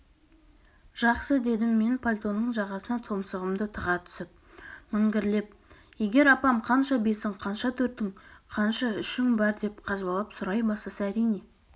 жақсы дедім мен пальтоның жағасына тұмсығымды тыға түсіп міңгірлеп егер апам қанша бесің қанша төртің қанша үшің бар деп қазбалап сұрай бастаса әрине